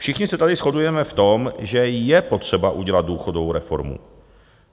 Všichni se tady shodujeme v tom, že je potřeba udělat důchodovou reformu.